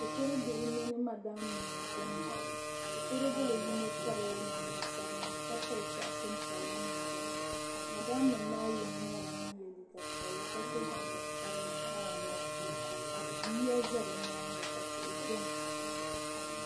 shikuru bihi mini madam nima n-diɛmda shikur' bila yino pirila namda sabinli ka piri sɔɣisin piɛlli niŋ din ni madam nima maa yino nyɛla ŋun ye liiga piɛlli ka sɔ jinjam sabinli ka yiya za bɛ nyaaga ka tihi beni.